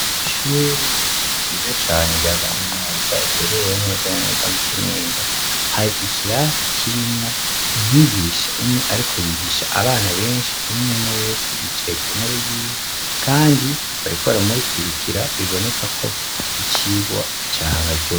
Ishure ryiza cane rya kaminuza riherereye neza na neza mu Kinindo, hari ikirasi kirimwo umwigisha umwe ariko yigisha abana benshi, umwe umwe wese yicaye ku ntebe yiwe kandi bariko baramukurira, biboneka ko ari icigwa cabaryoheye.